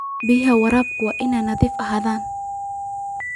Biyaha waraabku waa inay nadiif ahaadaan.